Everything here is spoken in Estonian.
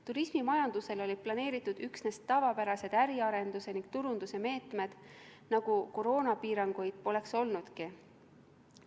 Turismimajandusele olid planeeritud üksnes tavapärased äriarenduse ning turunduse meetmed, nagu koroonapiiranguid poleks olnudki.